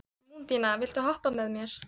Mundína, viltu hoppa með mér?